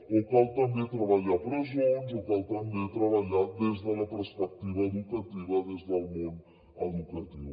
o cal també treballar a presons o cal també treballar des de la perspectiva educativa des del món educatiu